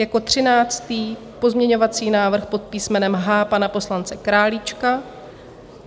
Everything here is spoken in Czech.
Jako třináctý pozměňovací návrh pod písmenem H pana poslance Králíčka.